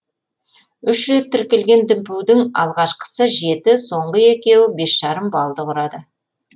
үш рет тіркелген дүмпудің алғашқысы жеті соңғы екеуі бес жарым баллды құрады